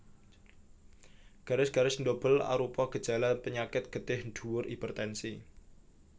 Garis garis ndobel arupa gejala penyakit getih dhuwur hipertensi